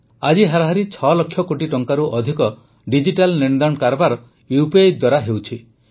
ଆଜି ହାରାହାରି ୬ ଲକ୍ଷ କୋଟି ଟଙ୍କାରୁ ଅଧିକର ଡିଜିଟାଲ ନେଣଦେଣ କାରବାର ୟୁପିଆଇ ଦ୍ୱାରା ହେଉଛି